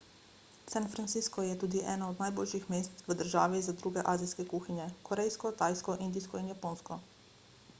san francisco je tudi eno od najboljših mest v državi za druge azijske kuhinje korejsko tajsko indijsko in japonsko